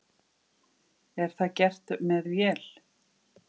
Er það gert með vél?